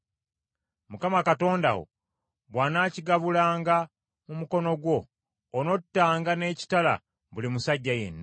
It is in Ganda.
Mukama Katonda wo bw’anaakigabulanga mu mukono gwo, onottanga n’ekitala buli musajja yenna.